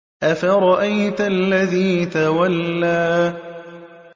أَفَرَأَيْتَ الَّذِي تَوَلَّىٰ